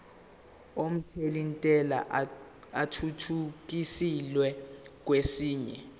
omthelintela athuthukiselwa kwesinye